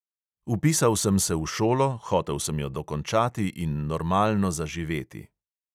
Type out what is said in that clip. Vpisal sem se v šolo, hotel sem jo dokončati in normalno zaživeti.